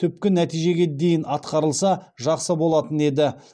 түпкі нәтижеге дейін атқарылса жақсы болатын еді